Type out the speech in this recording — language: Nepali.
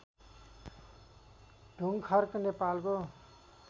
ढुङ्खर्क नेपालको